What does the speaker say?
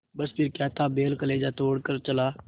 बस फिर क्या था बैल कलेजा तोड़ कर चला